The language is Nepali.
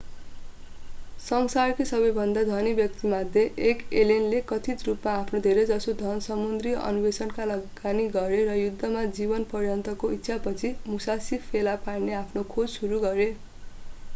संसारकै सबैभन्दा धनी व्यक्तिमध्ये एक एलेनले कथित रूपमा आफ्नो धेरैजसो धन समुद्री अन्वेषणमा लगानी गरे र युद्धमा जीवनपर्यन्तको इच्छापछि मुसासी फेला पार्ने आफ्नो खोज सुरु गरे